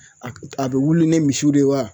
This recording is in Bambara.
A bɛ wili ni misiw de ye wa ?